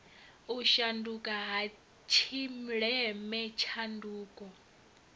u shanduka ha tshileme tshanduko